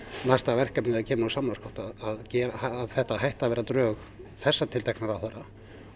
næsta verkefnið þegar það kemur úr samráðsgátt að þetta hætti að verða drög þessa ráðherra